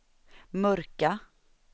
mörka